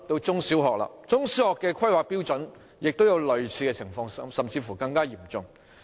中、小學的規劃標準也有類似情況，甚至更嚴重。